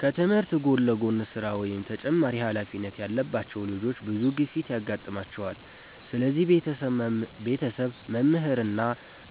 ከትምህርት ጎን ለጎን ስራ ወይም ተጨማሪ ኃላፊነት ያለባቸው ልጆች ብዙ ግፊት ያጋጥማቸዋል። ስለዚህ ቤተሰብ፣ መምህራን እና